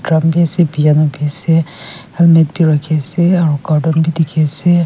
bi ase piano bi ase helmet bi rakhi ase aro cartoon bi dekhi ase.